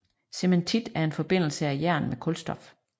Cementit er en forbindelse af jern med kulstof